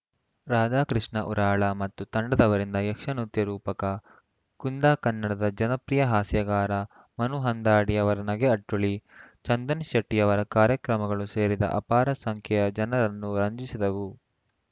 ರಾಧಾಕೃಷ್ಣ ಉರಾಳ ಮತ್ತು ತಂಡದವರಿಂದ ಯಕ್ಷ ನೃತ್ಯ ರೂಪಕ ಕುಂದ ಕನ್ನಡದ ಜನಪ್ರಿಯ ಹಾಸ್ಯಗಾರ ಮನುಹಂದಾಡಿಯವರ ನಗೆ ಅಟ್ಟುಳಿ ಚಂದನ್‌ ಶೆಟ್ಟಿಯವರ ಕಾರ್ಯಕ್ರಮಗಳು ಸೇರಿದ್ದ ಅಪಾರ ಸಂಖ್ಯೆಯ ಜನರನ್ನು ರಂಜಿಸಿದವು